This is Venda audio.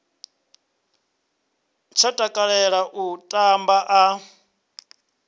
tsha takalela u tamba a